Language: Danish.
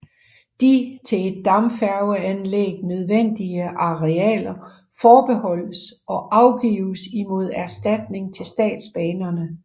De til et dampfærgeanlæg nødvendige arealer forbeholdes og afgives imod erstatning til Statsbanerne